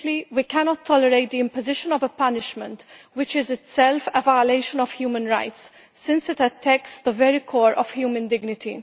We cannot tolerate the imposition of a punishment which is itself a violation of human rights since it attacks the very core of human dignity.